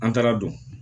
An taara don